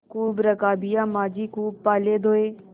खूब रकाबियाँ माँजी खूब प्याले धोये